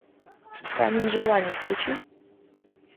камень желаний включи